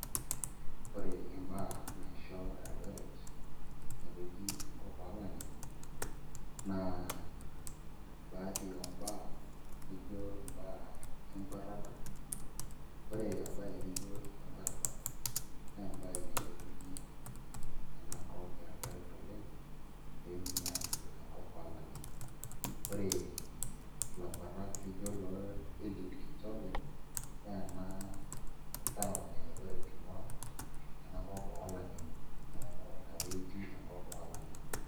Ore imbaa naisho Eldoret meteji enkop oolang'ani naa baadhi oombaa nijio imbaa enkuatata, ore embaye nijio ene nkuatata naa embaye nailepunyie ena kop Eldoret oleng' pee etumi aajo ena kop oolang'eni ore ilakuetak lijio loo Kipchoge Keino naa ena town e Eldoret ing'uaa enakop oolang'eni neeku ina pee eji enkop oolang'eni.